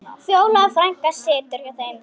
Fjóla frænka situr hjá þeim.